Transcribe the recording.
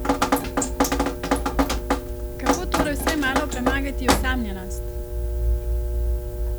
Kako torej vsaj malo premagati osamljenost?